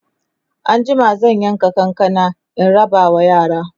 anjima zan yanka kankanan in rabawa yara